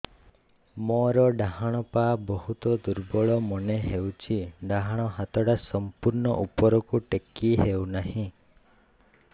ମୋର ଡାହାଣ ପାଖ ବହୁତ ଦୁର୍ବଳ ମନେ ହେଉଛି ଡାହାଣ ହାତଟା ସମ୍ପୂର୍ଣ ଉପରକୁ ଟେକି ହେଉନାହିଁ